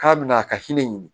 K'a bɛna a ka hinɛ ɲini